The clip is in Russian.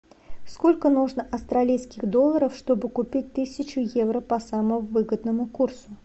сколько нужно австралийских долларов чтобы купить тысячу евро по самому выгодному курсу